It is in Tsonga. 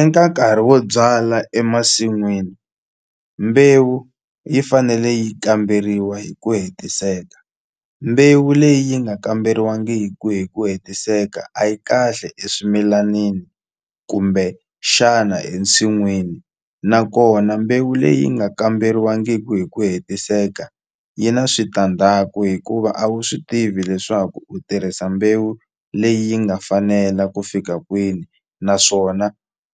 Eka nkarhi wo byala emasin'wini mbewu yi fanele yi kamberiwa hi ku hetiseka mbewu leyi nga kamberiwangi hi ku hi ku hetiseka a yi kahle eswimilanini kumbe xana ensinwini nakona mbewu leyi nga kamberiwangiku hi ku hetiseka yi na switandzhaku hikuva a wu swi tivi leswaku u tirhisa mbewu leyi yi nga fanela ku fika kwini naswona